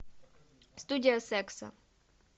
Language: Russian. студия секса